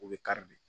O bɛ kari de